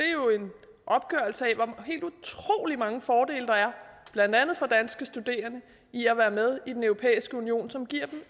er jo en opgørelse af hvor helt utrolig mange fordele der er blandt andet for danske studerende ved at være med i den europæiske union som giver